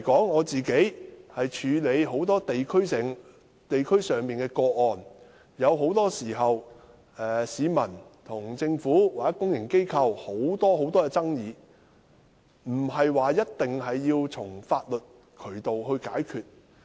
我過往處理很多地區上的個案，市民與政府或公營機構之間的許多爭議，不一定要循法律渠道解決。